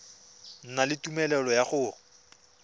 na le tumelelo ya go